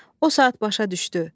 O saat başa düşdü.